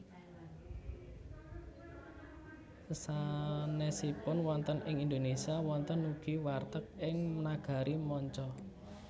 Sesanèsipun wonten ing Indonesia wonten ugi warteg ing nagari manca